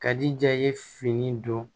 Ka di ja i ye fini don